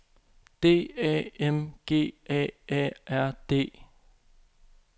D A M G A A R D